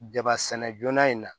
Jaba sɛnɛ joona in na